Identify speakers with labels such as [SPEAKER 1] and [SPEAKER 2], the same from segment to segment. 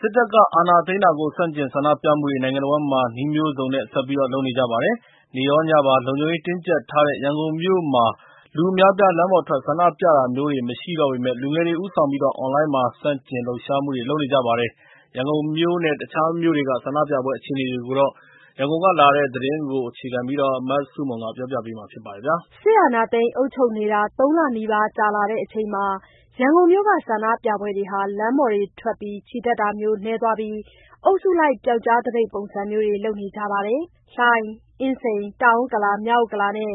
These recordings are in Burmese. [SPEAKER 1] စစ်တပ်က အာဏာသိမ်းတာကို ဆန့်ကျင်ဆန္ဒပြမှုတွေ နိုင်ငံတဝန်းမှာ နည်းမျိုးစုံနဲ့ ဆက်လုပ်နေကြပါတယ်။ နေ့ရောညပါ လုံခြုံရေးတင်းကျပ်ထားတဲ့ ရန်ကုန်မြို့မှာ လူအများအပြား လမ်းပေါ်ထွက် ဆန္ဒပြတာမျိုး မရှိတော့ပေမယ့် လူငယ်တွေဦးဆောင်ပြီး အွန်လိုင်းပေါ်မှာ ဆန့်ကျင်လှုပ်ရှားမှုတွေ လုပ်နေကြပါတယ်။ ရန်ကုန်မြို့နဲ့ တခြားမြို့တွေက ဆန္ဒပြပွဲတွေအကြောင်း ရန်ကုန်ကလာတဲ့သတင်းကို မဆုမွန်ကပြောပြပါမယ်။
[SPEAKER 2] စစ်အာဏာသိမ်းအုပ်ချုပ်နေတာ ၃ လနီးပါးကြာလာတဲ့အချိန်မှာ ရန်ကုန်မြို့ က ဆန္ဒပြပွဲတွေဟာ လမ်းပေါ်ထွက် ချီတက်တာမျိုးတွေ နည်းသွားပြီး အုပ်စုလိုက် ပျောက်ကြားသပိတ်ပုံစံတွေ လုပ်နေကြပါတယ်။ လှိုင်၊ အင်းစိန်၊ တောင်ဥက္ကလာ၊ မြောက်ဥက္ကလာနဲ့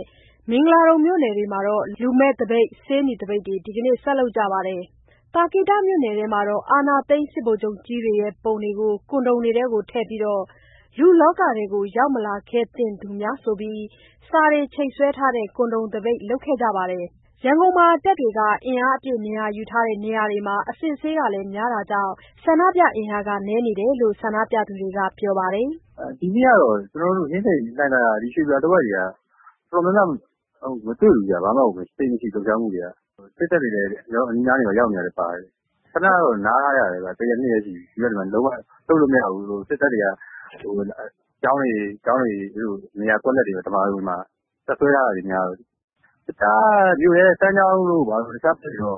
[SPEAKER 2] မင်္ဂလာဒုံမြို့နယ်တွေမှာ လူမဲ့သပိတ်၊ ဆေးနီသပိတ်တွေ ဒီကနေ့ ဆက်လုပ်ကြပါတယ်။ သာကေတမြို့နယ်ထဲမှာတော့ အာဏာသိမ်း ဗိုလ်ချုပ်ကြီးတွေရဲ့ပုံတွေကို ကွန်ဒုံးတွေထဲထည့်ပြီး လူလောကထဲကို ရောက်မလာခဲ့သင့်သူများဆိုပြီး စာတွေချိတ်ဆွဲထားတဲ့ ကွန်ဒုံးသပိတ် လုပ်ခဲ့ကြပါတယ်။ ရန်ကုန်မှာ တပ်တွေ အင်အားအပြည့် နေရာယူထားတဲ့ နေရာတွေမှာ အစစ်အဆေးလည်း များတာကြောင့် ဆန္ဒပြအင်အားက နည်းနေတယ်လို့ ဆန္ဒပြသူတွေက ပြောပါတယ်။
[SPEAKER 1] “ဒီကနေ့ကတော့ ကျနော်တို့ အင်းစိန်၊ လှိုင်သာယာ၊ ရွေပြည်သာ တဝိုက်တွေက တော်တော်များများ မတွေ့ဘူးဗျ။ ဘာမှကို သိပ်မရှိဘူး၊ လှုပ်ရှားမှုတွေက။ စစ်တပ်တွေက ကျနော်တို့ အနီးအနားမှာရောက်နေတာကြောင့်လည်းပါတယ်။ တရက်နှစ်ရက်တော့ နားထားကြတယ်ဗျ။ ဒီဘက်မှာ စစ်တပ်ကြောင့် လှုပ်လို့မရတော့ ကျောင်းတွေ၊ နေရာကွက်လပ်တွေ၊ ဓမ္မာရုံတွေမှာ တပ်စွဲထားတာတွေများတော့၊ တခြားမြို့နယ်တွေ၊ စမ်းချောင်းတို့ မြို့ထဲဘက်တို့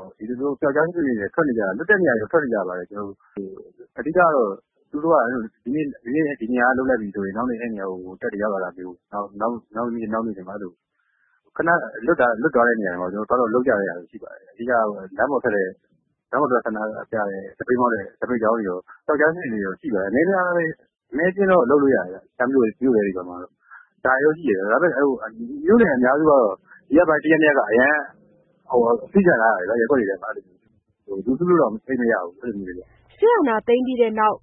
[SPEAKER 1] ဆိုရင် ထွက်နေကြပါတယ်။ လွတ်တဲ့နေရာတွေဆို ထွက်ကြတယ်။ အဓိကကတော့ ဒီနေ့ ဒီနေရာက လုပ်လိုက်ပြီဆိုရင် နောက်နေ့ အဲ့ဒီနေရာကို တပ်တွေရောက်လာတာမျိုးပေါ့။ နောက်နေ့နောက်နေ့တွေ အဲ့လိုခဏလွတ်တဲ့နေရာတွေမှာ သွားလုပ်ကြတာတွေရှိပါတယ်။ အဓိကက လမ်းပေါ်ထွက်ဆန္ဒပြတဲ့ သပိတ်မှောက် စစ်ကြောင်းတွေ၊ ပျောက်ကြားစနစ်နဲ့တော့ ရှိပါတယ်။ အနည်းအကျဉ်းတော့ လုပ်လို့ရတယ်ဗျ။ ဒါပေမယ့် မြို့နယ်အများစုကတော့ ဒီရက်ပိုင်း တစ်ရက်နှစ်ရက်မှာ အရမ်းအဖိခံထားရတယ်ဗျာ၊ ရပ်ကွက်တွေထဲမှာ လူစုလို့တောင် သိပ်မရဘူး။
[SPEAKER 2] ” စစ်အာဏာသိမ်းပြီးနောက်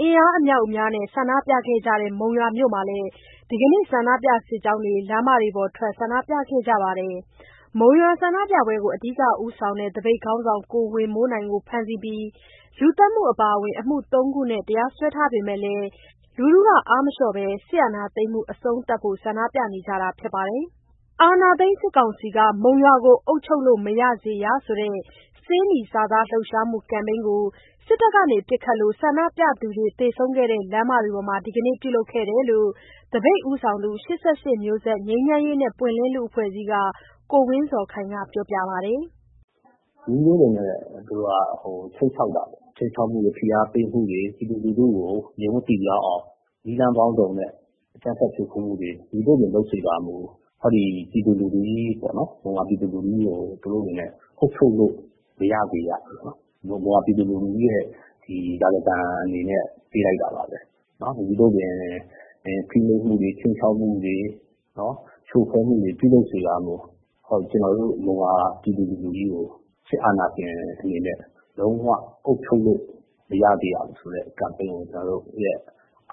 [SPEAKER 2] အင်အားအမြောက်အများနဲ့ ဆန္ဒပြကြတဲ့ မုံရွာမြို့မှာလည်း ဒီနေ့ ဆန္ဒပြစစ်ကြောင်းတွေ လမ်းပေါ်ထွက် ဆန္ဒပြခဲ့ကြပါတယ်။ မုံရွာဆန္ဒပြပွဲတွေကို အဓိက ဦးဆောင်နေတဲ့ သပိတ်ခေါင်းဆောင် ကိုဝေမိုးနိုင်ကို ဖမ်းဆီးပြီး လူသတ်မှုအပါအဝင် အမှု ၃ ခုနဲ့ တရားစွဲထားပေမယ့်လည်း လူထုက အားမလျော့ဘဲ စစ်အာဏာသိမ်းမှု အဆုံးသတ်ဖို့ ဆန္ဒပြနေကြတာဖြစ်ပါတယ်။ ‘အာဏာသိမ်း စစ်ကောင်စီက မုံရွာကိုအုပ်ချုပ်လို့ မရစေရ’ ဆိုတဲ့ ဆေးနီစာသားလှုပ်ရှားမှု ကမ်းပိန်းတစ်ခုကို စစ်တပ်ပစ်ခတ်လို့ ဆန္ဒပြသူတွေ သေဆုံးခဲ့တဲ့ လမ်းတွေမှာ ဒီနေ့ ပြုလုပ်ခဲ့တယ်လို့ သပိတ်ဦးဆောင်သူ ၈၈ မျိုးဆက် ငြိမ်းချမ်းရေးနဲ့ ပွင့်လင်းလူ့အဖွဲ့အစည်းအဖွဲ့က ကိုဝင်းဇော်ခိုင်က ပြောပါတယ်။
[SPEAKER 1] “နည်းမျိုးစုံနဲ့ သူတို့က ခြိမ်းခြောက်တာပေါ့၊ ခြိမ်းခြောက်မှုတွေ ဖိအားပေးမှုတွေ ပြည်သူလူထုကို ငြိမ်ဝပ်ပိပြားအောင် နည်းလမ်းပေါင်းစုံနဲ့ အကြမ်းဖက်ဖြိုခွဲမှုတွေ မည်သို့ပင်လုပ်စေကာမူ ဟောဒီပြည်သူ လူထုကြီးပေါ့နော် မုံရွာပြည်သူလူထုကြီးကို သူတို့အနေနဲ့ အုပ်ချုပ်လို့ မရစေရဘူးနော်။ မုံရွာပြည်သူလူထုကြီးရဲ့ ဒီရာဇသံအနေနဲ့ ပေးလိုက်တာပါပဲနော်၊ မည်သို့ပင် ဖိနှိပ်မှုတွေ ခြိမ်းခြောက်မှုတွေနော် ဖြိုခွဲမှုတွေ ပြုလုပ်စေကာမူ ဟောဒီကျနော်တို့ မုံရွာပြည်သူလူထုကြီးကို စစ်အာဏာရှင်အနေနဲ့လုံးဝအုပ်ချုပ်လို့ မရစေရဘူးဆိုတဲ့ ကမ်ပိန်းကို ကျနော်တို့ရဲ့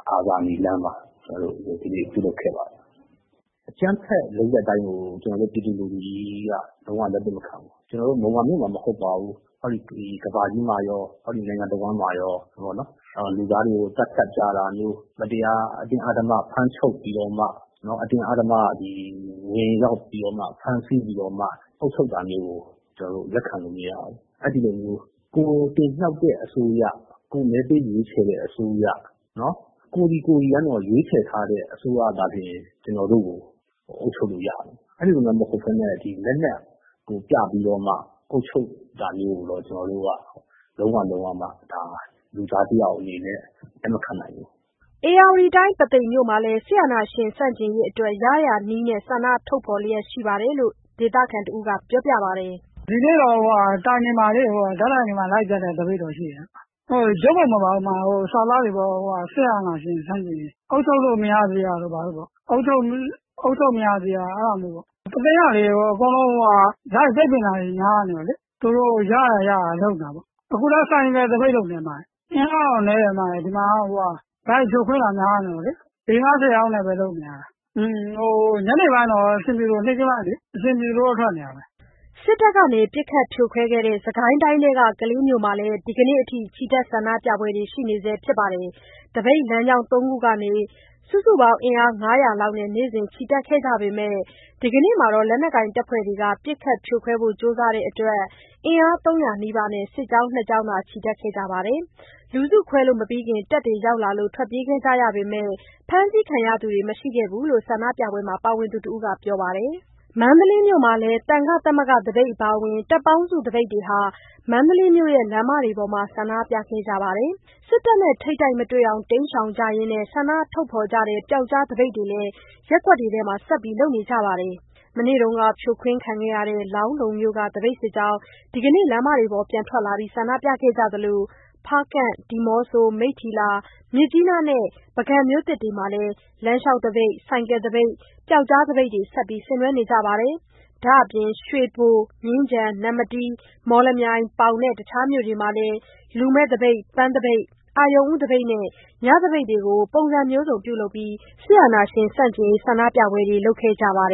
[SPEAKER 1] အာဇာနည်လမ်းမှာ ကျနော်တို့ ဒီနေ့ပြုလုပ်ခဲ့ပါတယ်။ အကြမ်းဖက်လုပ်ရပ်တိုင်းကို ကျနော်တို့ ပြည်သူလူထုကြီးက လုံးဝလက်မခံဘူး၊ ကျနော်တို့ မုံရွာမြို့မှာမှ မဟုတ်ပါဘူး ဟောဒီကမ္ဘာကြီးမှာရော ဟောဒီနိုင်ငံတစ်ဝန်းမှာရော ဆိုတော့နော် လူသားတွေ သတ်ဖြတ်တာတွေမျိုး မတရားအတင်းအဓမ္မဖမ်းချုပ်ပြီးတော့မှနော် အတင်းအဓမ္မဝင်ရောက်ပြီးတော့မှ ဖမ်းဆီးပြီးတော့မှ အုပ်ချုပ်တာမျိုးကို ကျနော်တို့ လက်ခံလို့မရဘူး၊ အဲ့လိုမျိုး ကိုယ်တင်မြှောက်တဲ့အစိုးရ၊ ကိုယ်မဲပေးရွေးခဲ့တဲ့ အစိုးရနော် ကိုယ်စီကိုယ်စီက ရွေးချယ်ထားတဲ့ အစိုးရတွေပဲ ကျနော်တို့ ကို အုပ်ချုပ်လို့ရမယ်။ အဲ့လိုမှမဟုတ်ဘဲနဲ့ ဒီလက်နက်ကို ပြပြီးတော့မှ အုပ်ချုပ်တာမျိုးကိုတော့ ကျနော်တို့ လုံးဝလုံးဝမှ ဒါ လူသားတစ်ယောက်အနေနဲ့ လက်မခံနိုင်ဘူး
[SPEAKER 2] ။” ဧရာဝတီတိုင်း၊ ပုသိမ်မြို့မှာလည်း စစ်အာဏာရှင် ဆန့်ကျင်ရေးအတွက် ရရာနည်းနဲ့ ဆန္ဒထုတ်ဖော်လျက်ရှိတယ်လို့ ဒေသခံတစ်ဦးက ပြောပါတယ်။ “ဒီနေ့တော့ တိုင်တွေမှာလေ ဓာတ်တိုင်တွေမှာ လိုက်ကပ်တဲ့ သပိတ်တော့ရှိတယ်၊ ရုပ်ပုံမဟုတ်ဘူး၊ စာသားတွေပေါ့၊ စစ်အာဏာရှင်ဆန့်ကျင်ရေး၊ အုပ်ချုပ်လို့မရစေရတို့ ဘာတို့ပေါ့၊ အုပ်ချုပ်မရစေရ အဲ့ဒါမျိုးပေါ့၊ ပုသိမ်၊ ကလေး အကုန်လုံးက လိုက်ပိတ်ပင်တာတွေ များတယ်လေ။ သူတို့ရရာရရာ လုပ်နေတာပေါ့၊ အခုလည်း ဆိုင်ကယ်သပိတ် လုပ်နေတယ်၊ အင်အားတော့ နည်းတယ်၊ ဒီမှာတော့ လိုက်ဖြိုခွင်းတာများနေလို့လေ၊ ၄၊ ၅၊ ၁၀ ယောက်နဲ့ပဲ လုပ်နေရတာ ညနေပိုင်း နေ့ခင်းပိုင်းလေး အဆင်ပြေသလိုတော့ လုပ်နေတယ်။” စစ်တပ်က ပစ်ခတ်ဖြိုခွဲခဲ့တဲ့ စစ်ကိုင်းတိုင်းထဲက ကလေးမြို့မှာလည်း ဒီနေ့အထိ ချီတက်ဆန္ဒပြပွဲတွေ ရှိနေဆဲဖြစ်ပါတယ်။ သပိတ်လမ်းကြောင်း သုံးခုကနေ စုစုပေါင်း အင်အား ၅၀၀ လောက်နဲ့ နေ့စဉ်ချီတက်ခဲ့ကြပေမယ့် ဒီကနေ့မှာတော့ လက်နက်ကိုင်တပ်ဖွဲ့တွေက ပစ်ခတ်ဖြိုခွဲဖို့ ကြိုးစားတဲ့အတွက် အင်အား ၃၀၀ နီးပါးနဲ့ စစ်ကြောင်း နှစ်ကြောင်းသာ ချီတက်ခဲ့ကြပါတယ်။ လူစုခွဲလို့မပြီးခင် တပ်တွေ ရောက်လာတဲ့အတွက် ထွက်ပြေးခဲ့ကြရပေမယ့် ဖမ်းဆီးခံရသူတွေ မရှိခဲ့ဘူးလို့ ဆန္ဒပြပွဲမှာ ပါဝင်သူတစ်ဦးက ပြောပါတယ်။ မန္တလေးမြို့မှာလည်း သံဃာ့သမဂ္ဂသပိတ်အပါအဝင် တပ်ပေါင်းစုသပိတ်တွေဟာ မန္တလေးမြို့လမ်းမတွေပေါ်မှာ ဆန္ဒပြခဲ့ကြပါတယ်။ စစ်တပ်နဲ့ ထိပ်တိုက်မတွေ့အောင် တိမ်းရှောင်ကြရင်း ဆန္ဒထုတ်ဖော်ကြတဲ့ ပျောက်ကြားသပိတ်တွေလည်း ရပ်ကွက်တွေထဲဆက်လုပ်ကြပါတယ်။ မနေ့က ဖြိုခွင်းခံခဲ့ရတဲ့ လောင်းလုံမြို့က သပိတ်စစ်ကြောင်း ဒီကနေ့ လမ်းပေါ်ပြန်ထွက်လာပြီး ဆန္ဒပြခဲ့သလို ဖားကန့်၊ ဒီမော့ဆို၊ မိတ္ထီလာ၊ မြစ်ကြီးနားနဲ့ ပုဂံမြို့သစ်တွေမှာ လမ်းလျှောက်သပိတ်၊ ဆိုင်ကယ်သပိတ်၊ ပျောက်ကြားသပိတ်တွေ ဆင်နွဲကြပါတယ်။ ဒါ့အပြင် ရွှေဘို ၊ မြင်းခြံ၊ နမ္မတီး၊ မော်လမြိုင်၊ ပေါင်နဲ့ တခြားမြို့ တွေမှာလည်း လူမဲ့သပိတ်၊ ပန်းသပိတ်၊ အရုဏ်ဦးသပိတ်နဲ့ ညသပိတ်တွေကို ပုံစံမျိုးစုံပြုလုပ်ပြီး စစ်အာဏာရှင်ဆန့်ကျင် ဆန္ဒပြပွဲတွေ လုပ်ခဲ့ကြပါတယ်